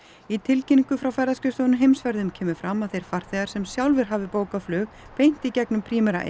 í tilkynningu frá ferðaskrifstofunni Heimsferðum kemur fram að þeir farþegar sem sjálfir hafi bókað flug beint í gegnum Primera